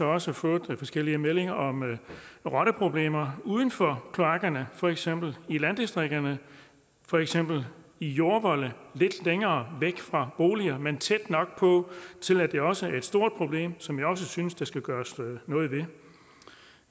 også fået forskellige meldinger om rotteproblemer uden for kloakkerne for eksempel i landdistrikterne for eksempel i jordvolde lidt længere væk fra boliger men tæt nok på til at det også er et stort problem som jeg også synes der skal gøres noget